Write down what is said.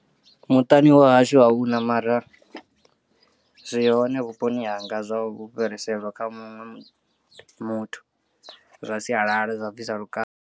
Muṱani wa hashu ahuna mara zwi hone vhuponi hanga zwa u fhiriselwa kha muṅwe muthu zwa sialala zwa u bvisa lukanda.